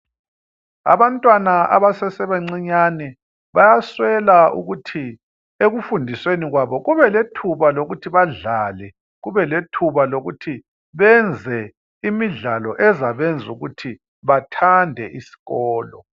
Abantwana abasese bancinyane bayaswela ukuthi ekufundisweni kwabo kube lethuba lokuthi badlale kube lethuba lokuthi benze imidlalo ezabenza ukuthi bathande izikolo.